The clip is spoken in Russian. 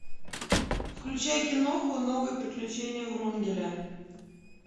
включай киноху новые приключения врунгеля